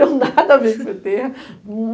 Não tenho nada a ver com pê tê